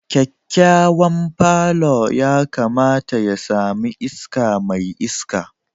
Kyakkyawan palour yakamata ya sami iska mai iska